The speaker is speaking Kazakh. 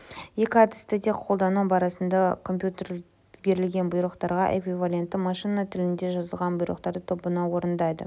екі әдісті де қолдану барысында компьютер берілген бұйрықтарға эквивалентті машина тілінде жазылған бұйрықтар тобын орындайды